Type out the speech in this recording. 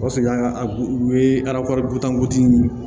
O sɔrɔ ka u ye